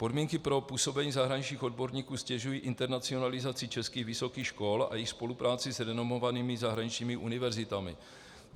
Podmínky pro působení zahraničních odborníků ztěžují internacionalizaci českých vysokých škol a jejich spolupráci s renomovanými zahraničními univerzitami.